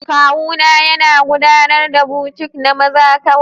Kawuna yana gudanar da boutique na maza kawai